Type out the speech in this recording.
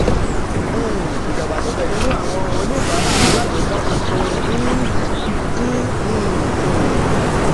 um ìdàgbàsókè nínú àwọn oníbàárà alágbèéká tuntun ń dín um kù.